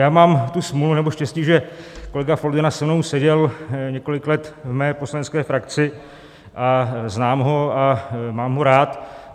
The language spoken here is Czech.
Já mám tu smůlu, nebo štěstí, že kolega Foldyna se mnou seděl několik let v mé poslanecké frakci a znám ho a mám ho rád.